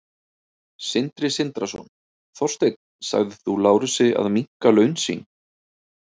Sindri Sindrason: Þorsteinn, sagðir þú Lárusi að minnka laun sín?